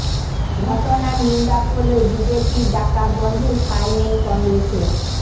ঘটনার নিন্দা করলেও বিজেপির ডাকা বনধে সায় নেই কংগ্রেসের